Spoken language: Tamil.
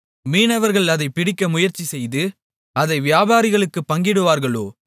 மீனவர்கள் அதைப் பிடிக்க முயற்சி செய்து அதை வியாபாரிகளுக்குப் பங்கிடுவார்களோ